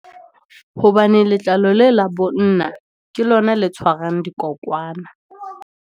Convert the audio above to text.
Hobane letlalo le la bonna, ke lona le tshwarang dikokwanyana.